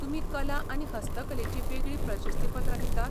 तुमी कला आनी हस्तकलेचीं वेगळीं प्रशस्तीपत्रां दितात?